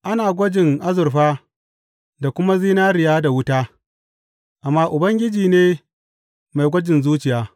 Ana gwajin azurfa da kuma zinariya da wuta, amma Ubangiji ne mai gwajin zuciya.